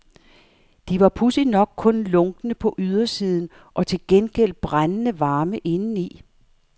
De var pudsigt nok kun lunkne på ydersiden og til gengæld brændende varme indeni.